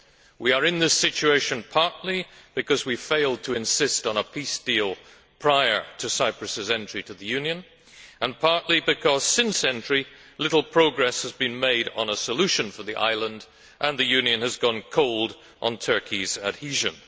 We are in this situation partly because we failed to insist on a peace deal prior to Cyprus's entry to the Union and partly because, since entry, little progress has been made on a solution for the island and the Union has gone cold on Turkey's adhesion.